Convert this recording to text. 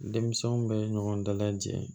Denmisɛnw bɛ ɲɔgɔn dalajɛ